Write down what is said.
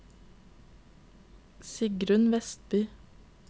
Sigrun Westby